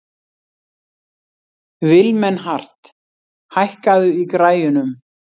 Vilmenhart, hækkaðu í græjunum.